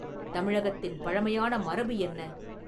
தமிழகத்தின் பழைமையான மரபு என்ன?